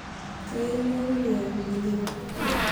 kayieu nairorie anjelina